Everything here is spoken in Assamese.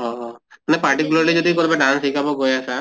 অহ অহ মানে particularly যদি শিকাব গৈ আছা